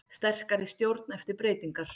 Sterkari stjórn eftir breytingar